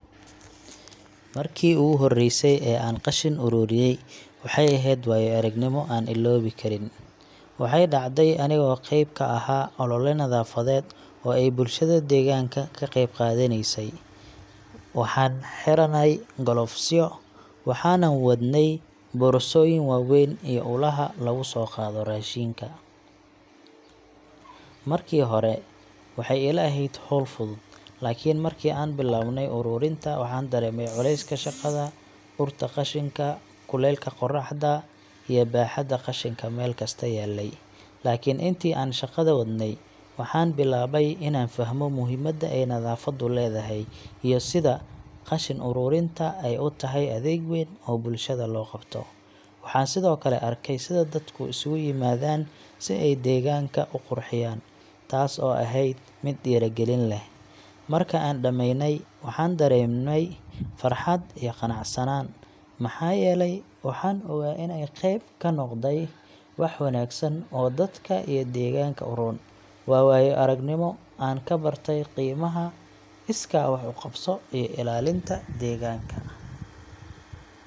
Markii ugu horreysay ee aan qashin ururiyey, waxay ahayd waayo-aragnimo aan illoobi karin. Waxay dhacday anigoo qayb ka ahaa olole nadaafadeed oo ay bulshada deegaanka ka qeyb qaadaneysay. Waxaan xiranay galoofisyo, waxaanan wadnay boorsooyin waaweyn iyo ulaha lagu soo qaado qashinka. Markii hore waxay ila ahayd hawl fudud, laakiin markii aan bilownay ururinta, waxaan dareemay culayska shaqada – urta qashinka, kuleylka qorraxda iyo baaxadda qashinka meel kasta yaalay. Laakiin intii aan shaqada wadnay, waxaan bilaabay inaan fahmo muhiimadda ay nadaafaddu leedahay iyo sida qashin ururinta ay u tahay adeeg weyn oo bulshada loo qabto. Waxaan sidoo kale arkay sida dadku isugu yimaadaan si ay deegaanka u qurxiyaan, taas oo ahayd mid dhiirrigelin leh. Marka aan dhammaynay, waxaan dareemay farxad iyo qanacsanaan, maxaa yeelay waxaan ogaa inaan qayb ka noqday wax wanaagsan oo dadka iyo deegaanka u roon. Waa waayo-aragnimo aan ka bartay qiimaha iskaa wax u qabso iyo ilaalinta deegaanka.